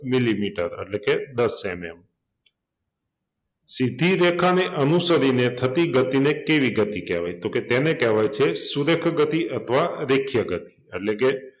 Millimetre એટલે કે દસ MM સીધી રેખાને અનુસરીને થતી ગતિને કેવી ગતિ કહેવાય? તો કે તેને કહેવાય છે સુરેખ ગતિ અથવા રેખીય ગતિ એટલે કે